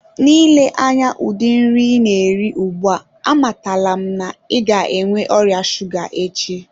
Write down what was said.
N'ile anya udi nri ina eri ugbua amatala m na i ga enwe oria shuga echi.